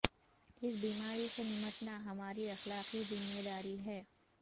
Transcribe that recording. اس بیماری سے نمٹنا ہماری اخلاقی ذمہ داری ہے